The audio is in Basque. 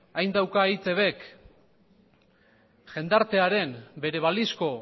hain dauka eitb k jendartearen bere balizko